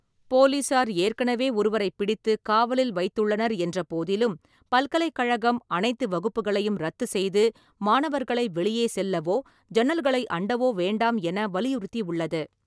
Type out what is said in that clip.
போலீசார் ஏற்கனவே ஒருவரைப் பிடித்து காவலில் வைத்துள்ளனர் என்றபோதிலும், பல்கலைக்கழகம் அனைத்து வகுப்புகளையும் ரத்து செய்து மாணவர்களை வெளியே செல்லவோ ஜன்னல்களை அண்டவோ வேண்டாம் என வலியுறுத்தியுள்ளது.